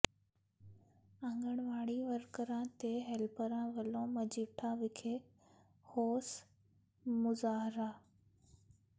ਆਂਗਣਵਾੜੀ ਵਰਕਰਾਂ ਤੇ ਹੈਲਪਰਾਂ ਵਲੋਂ ਮਜੀਠਾ ਵਿਖੇ ਰੋਸ ਮੁਜ਼ਾਹਰਾ